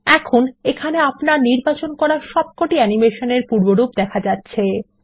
এখন এখানে আপনার নির্বাচিত সমস্ত অ্যানিমেশনগুলিগুলির পূর্বরূপ দেখা যাচ্ছে